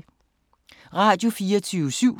Radio24syv